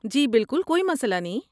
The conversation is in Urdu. جی بالکل، کوئی مسئلہ نہیں۔